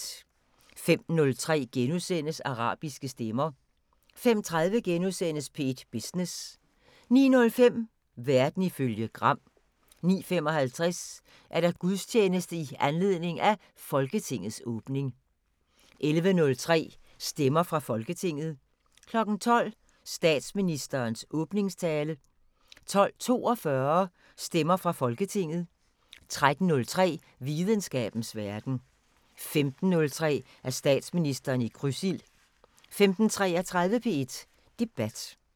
05:03: Arabiske stemmer * 05:30: P1 Business * 09:05: Verden ifølge Gram 09:55: Gudstjeneste i anledning af Folketingets åbning 11:03: Stemmer fra Folketinget 12:00: Statsministerens åbningstale 12:42: Stemmer fra Folketinget 13:03: Videnskabens Verden 15:03: Statsministeren i krydsild 15:33: P1 Debat